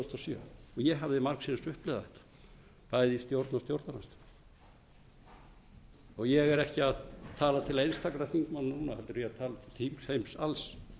sjö og ég hafði margsinnis upplifað bæði í stjórn og stjórnarandstöðu ég er ekki að tala til einstakra þingmanna núna heldur er ég að tala til þingheims alls